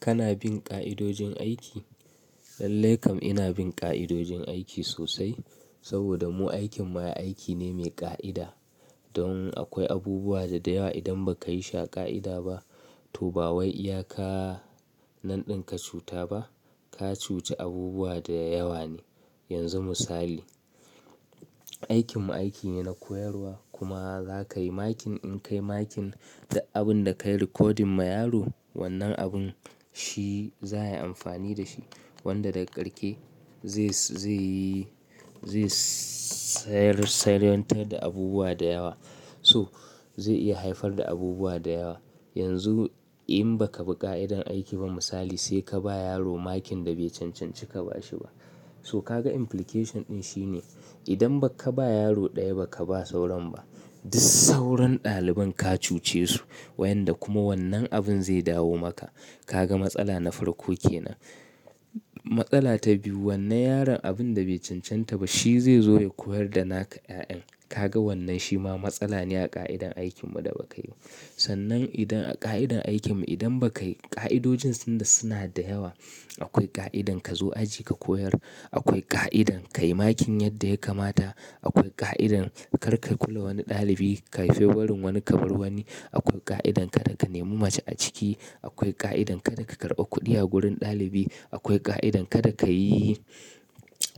Kana bin ƙa'idojin aiki? Lallai kam ina bin ƙa'idojin aiki sosai. Saboda mu aikin ma aiki ne mai ƙa'ida. Don akwai abubuwa da yawa idan ba ka yi shi a ƙa'ida ba to ba wai iya ka nan ɗin ka cuta ba, ka cuci abubuwa da yawa ne. Yanzu misali, aikin mu aiki ne na koyarwa kuma za ka yi makin in kai makin da abun da ka yi recording ma yaro wannan abun shi za ya yi amfani da shi. Wanda daga ƙarshe zai, zai yi, zai sayar, sayarwantar da abubuwa da yawa. So zai iya haifar da abubuwa da yawa. Yanzu in ba ka bi ƙa'idan aiki ba misali sai ka ba yaro makin da bai cancanci ka ba shi ba. So ka ga implication ɗin shi ne idan ba ka ba yaro ɗaya ba ka ba sauran ba, duk sauran ɗaliban ka cuce su. Wayanda kuma wannan abun zai dawo maka. Ka ga matsala na farko kenan. Matsala ta biyu wannan yaron abun da bai cancanta ba shi zai zo ya koyar da naka 'ya'yan. Ka ga wannan shi ma matsala ne a ƙa'idan aikin mu da ba ka yi ba. Sannan idan a ƙa'idan aikin mu idan ba ka yi ƙa'idojin suna, suna da yawa. Akwai ƙa'idan ka zo aji ka koyar. Akwai ƙa'idan ka yi makin yadda ya kamata. Akwai ƙa'idan kar ka kula wani ɗalibi. Ka yi favarin wani ka bar wani. Akwai ƙa'idan kada ka nemo mace a ciki. Akwai ƙa'idan kada ka karɓa kuɗi a wurin ɗalibi. Akwai ƙa'idan kada ka yi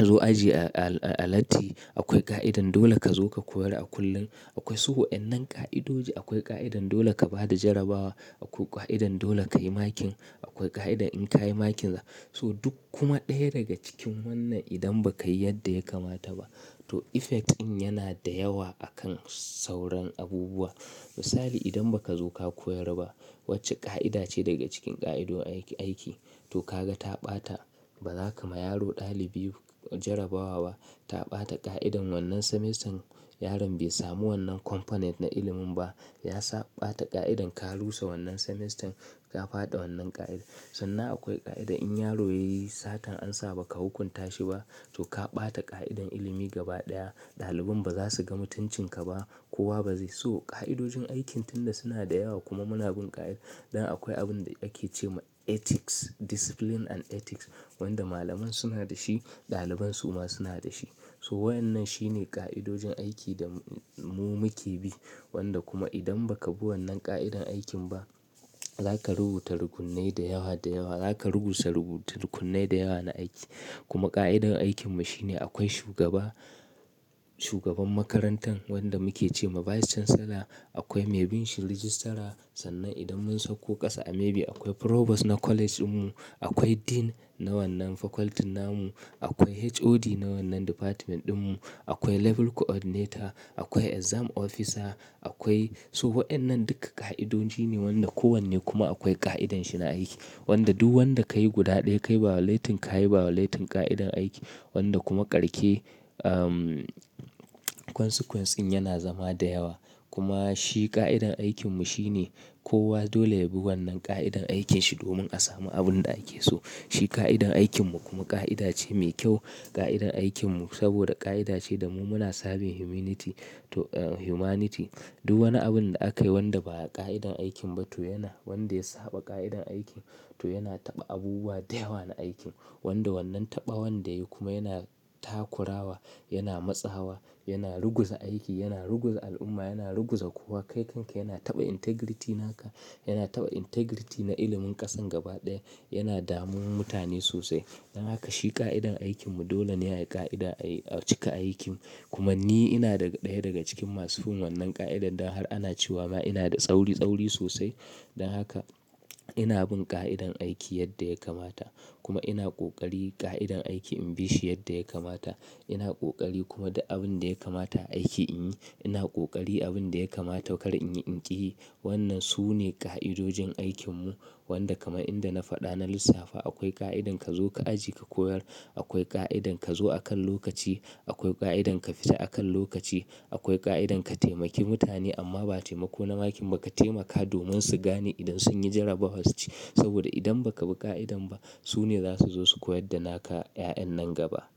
zo aji a, a, a latti. Akwai ƙa'idan dole ka zo ka koyar a kullun. Akwai, so waɗannan ƙa'idoji. Akwai ƙa'idan dole ka ba da jarabawa. Akwai ƙa'idan dole ka yi makin. Akwai ƙa'ida in ka yi makin za. So duk kuma ɗaya daga cikin wannan idan ba ka yi yadda ya kamata ba to effect din yana da yawa a kan sauran abubuwa. Misali idan ba ka zo ka koyar ba wacce ƙa'ida ce daga cikin ƙa'idojin aiki aiki to ka ga ka ɓata. Ba za ka ma yaro ɗalibi jarabawa ba ta ɓata ƙa'idan wannan semester yaron bai samu wannan component na ilimin ba. Ya sa ɓata ƙa'idan ka rusa wannan semester. Ka faɗi wannan ƙa'ida. Sannan akwai ƙa'ida in yaro ya yi satar ansa ba ka hukunta shi ba to ka ɓata ƙa'idar ilimi gaba ɗaya. Ɗalibain ba za su gan mutuncin ka ba. Kowa ba zai. So ƙa'idojin aikin tun da suna da yawa kuma muna bin ƙa'idar. Dan akwai abin da ake ce ma ethics, discipline and ethics wanda malamai suna da shi ɗaliban su ma suna da shi. To wannan shine ƙa'idojin aiki da mu muke bi. Wanda kuma idan ba ka bi wannan ƙa'idar aikin ba za ka rubuta rukunnai da yawa da yawa. Za ka rubuta rukunnai da yawa na aiki. Kuma ƙa'idar aikin mu shine akwai shugaba, shugaban makarantar wanda muke ce ma vice chancellor. Akwai mai binshi registrar. Sannan idan mun sauko ƙasa a maybe akwai provost na college ɗin mu. Akwai dean na wannan faculty na mu. Akwai HOD na wannan department ɗin mu. Akwai level coordinator. Akwai exam officer. Akwai, so waɗannan duka ƙa'idoji ne wanda kowanne kuma akwai ƙa'idanshi na aiki. Wanda duk wanda ka yi guda ɗaya ka yi violatin ka yi ba violatin ƙa'idar aiki. Wanda kuma karshe, um, consequence in yana zama da yawa. Kuma shi ƙa'idar aikin mu shine kowa dole ya bi wannan ƙa'idar aikanshi domin a samu abun da ake so. Shi ƙa'idar aikin mu kuma ƙa'ida ce mai kyau. Ƙa'idar aikin mu saboda ƙa'ida ce da mu muna sabin humanity to, a humanity. Duk wani abun da aka yi wanda ba a ƙa'idar aikin ba to yana, wanda ya saɓa ƙa'idar aikin to yana taɓa abubuwa da yawa na aiki. Wanda wannan taɓa wanda ya yi kuma yana takurawa, yana matsawa, yana ruguza aiki, yana ruguza al'umma, yana ruguza kowa. Kai kanka yana taɓa integrity naka. Yana taɓa integrity na ilimin ƙasan gaba ɗaya. Yana damun mutane sosai. Don haka shi ƙa'idar aikin mu dole ne a yi ƙa'ida, a cika aikin. Kuma ni ina daga ɗaya daga cikin masu bin wannan ƙa'idar. Dan har ana cewa ma ina da tsauri, tsauri sosai. Don haka ina bin ƙa'idar aiki yadda ya kamata. Kuma ina ƙoƙari ƙa'idar aiki in bi shi yadda ya kamata. Ina ƙoƙari kuma da abin da ya kamata a aiki in yi. Ina ƙoƙari abin da ya kamata kar in yi in ƙi yi. Wannan su ne ƙa'idojin aikin mu. Wanda kamar inda na faɗa na lissafa akwai ƙa'idar ka zo ka aji ka koyar. Akwai ƙa'idar ka zo akan lokaci. Akwai ƙa'idar ka fita akan lokaci. Akwai ƙa'idar ka taimaki mutane amma ba taimako na makin ba. Ka taimaka domin su gane idan sun yi jarabawar su ci. Saboda idan ba ka bi ƙa'idar ba su ne za su zo su koyar da naka 'ya'yan nan gaba.